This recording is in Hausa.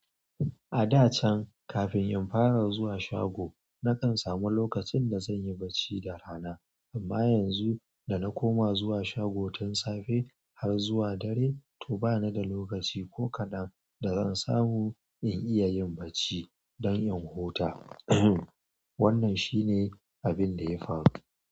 A da can kafin in fara zuwa shago, na kan samu lokacin da zan yi bacci da rana, amma yanzu da na koma zuwa shago tun safe har zuwa dare, to bana da lokaci ko kaɗan da zan samu in iya yin barci don in huta. Wannan shi ne abin da ya faru.